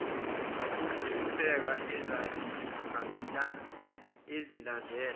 kukhulu ukuhlupheka azilandela